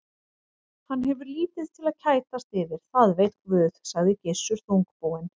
Hann hefur lítið til að kætast yfir, það veit Guð, sagði Gissur þungbúinn.